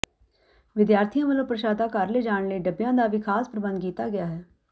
ਵਿਦਿਆਰਥੀਆਂ ਵਲੋਂ ਪ੍ਸ਼ਾਦਾ ਘਰ ਲਿਜਾਣ ਲਈ ਡੱਬਿਆਂ ਦਾ ਵੀ ਖਾਸ ਪ੍ਰਬੰਧ ਕੀਤਾ ਗਿਆ ਹੈ